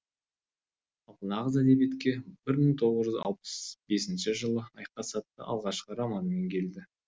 ал нағыз әдебиетке бір мың тоғыз жүз алпыс бесінші жылы айқас атты алғашқы романымен келді